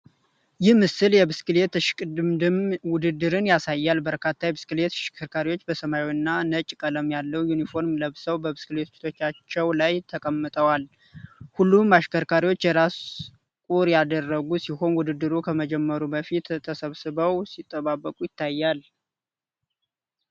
ይህ ምስል የብስክሌት እሽቅድምድም ውድድርን ያሳያል። በርካታ የብስክሌት አሽከርካሪዎች በሰማያዊና ነጭ ቀለም ያለው ዩኒፎርም ለብሰው በብስክሌቶቻቸው ላይ ተቀምጠዋል። ሁሉም አሽከርካሪዎች የራስ ቁር ያደረጉ ሲሆን፣ ውድድሩ ከመጀመሩ በፊት ተሰብስበው ሲጠባበቁ ይታያል።